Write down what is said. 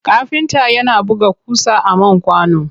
Kafinta yana buga ƙusa a man kwano.